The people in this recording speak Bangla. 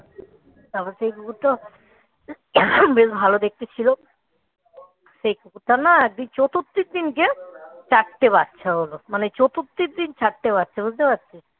তারপর থেকে এই কুকুরটা বেশ ভালো দেখতে ছিল সেই কুকুরটার না চতুর্থীর দিনকে চারটে বাচ্চা হল, মানে চতুর্থীর দিন চারটে বাচ্চা বুঝতে পারছিস?